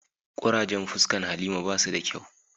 Kurajen fuscan halima ba su da kyau.